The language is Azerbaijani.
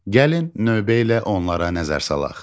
Gəlin növbə ilə onlara nəzər salaq.